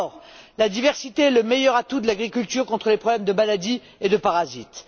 Or, la diversité est le meilleur atout de l'agriculture contre les problèmes de maladies et de parasites.